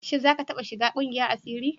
Shin za ka taɓa shiga ƙungiyar asiri?